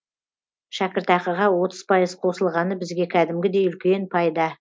шәкіртақыға отыз пайыз қосылғаны бізге кәдімгідей үлкен пайда